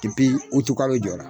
Kepi utu kalo jɔra